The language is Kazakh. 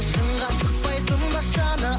шыңға шықпай тынбас жаны